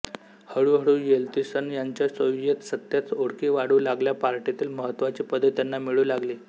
हळूहळू येल्त्सिन यांच्या सोवियेत सत्तेत ओळखी वाढू लागल्या पार्टीतील महत्त्वाची पदे त्यांना मिळू लागली